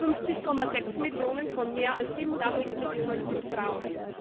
50,6 Millionen von mehr als 87 Millionen sind Frauen.